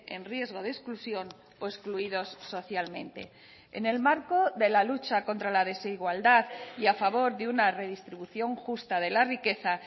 en riesgo de exclusión o excluidos socialmente en el marco de la lucha contra la desigualdad y a favor de una redistribución justa de la riqueza